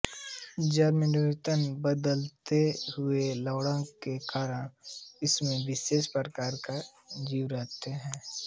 जल में निरंतर बदलते हुए लवणता के कारण इसमें विशेष प्रकार के जीव रहते हैं